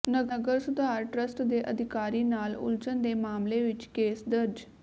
ਨਗਰ ਸੁਧਾਰ ਟਰੱਸਟ ਦੇ ਅਧਿਕਾਰੀ ਨਾਲ ਉਲਝਣ ਦੇ ਮਾਮਲੇ ਵਿਚ ਕੇਸ ਦਰਜ